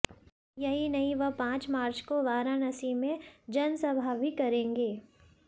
यही नहीं वह पांच मार्च को वाराणसी में जनसभा भी करेंगे